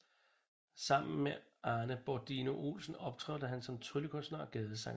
Sammen med Arne Berdino Olsen optrådte han som tryllekunstner og gadesanger